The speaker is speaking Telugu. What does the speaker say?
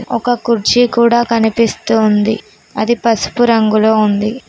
ఒక కుర్చీ కూడా కనిపిస్తోంది అది పసుపు రంగులో ఉంది.